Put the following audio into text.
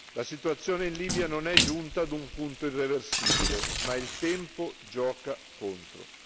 La situazione in Libia non è giunta ad un punto irreversibile, ma il tempo gioca contro.